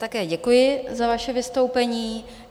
Také děkuji za vaše vystoupení.